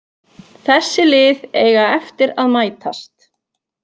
Þessi lið eiga eftir að mætast